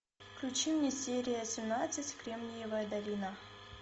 включи мне серия семнадцать кремниевая долина